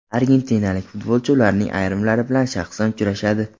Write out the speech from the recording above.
Argentinalik futbolchi ularning ayrimlari bilan shaxsan uchrashadi.